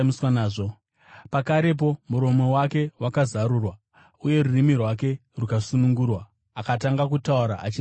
Pakarepo muromo wake wakazarurwa uye rurimi rwake rukasunungurwa, akatanga kutaura, achirumbidza Mwari.